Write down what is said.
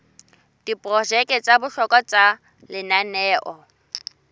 diprojeke tsa bohlokwa tsa lenaneo